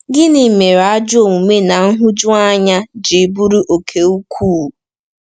Gịnị mere ajọ omume na nhụjuanya ji buru oke ukwuu?